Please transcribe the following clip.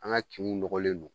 An ga kinw nɔgɔlen don